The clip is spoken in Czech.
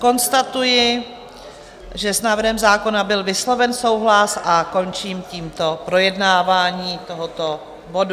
Konstatuji, že s návrhem zákona byl vysloven souhlas, a končím tímto projednávání tohoto bodu.